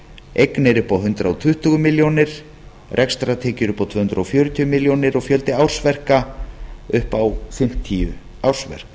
eignir upp á hundrað tuttugu milljónir rekstrartekjur upp á tvö hundruð fjörutíu milljónir og fjöldi ársverka upp á fimmtíu ársverk